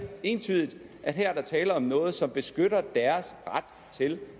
entydigt at her er der tale om noget som beskytter deres ret til